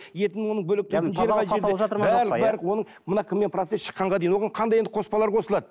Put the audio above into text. етін оның барлық барлық оның мына кіммен процесс щыққанға дейін оған қандай енді қоспалар қосылады